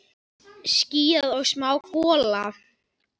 Skýjað og smá gola.